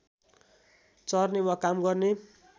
चर्ने वा काम गर्ने